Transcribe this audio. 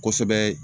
Kosɛbɛ